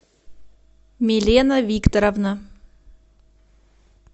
милена викторовна